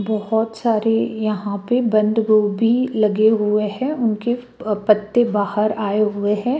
बहुत सारी यहां पे बंद गोभी लगे हुए हैं उनके अह पत्ते बाहर आए हुए है।